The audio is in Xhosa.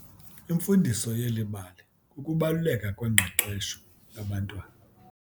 Imfundiso yeli bali kukubaluleka kwengqeqesho yabantwana.